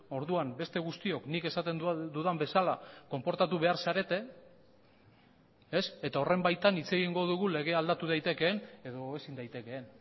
orduan beste guztiok nik esaten dudan bezala konportatu behar zarete eta horren baitan hitz egingo dugu legea aldatu daitekeen edo ezin daitekeen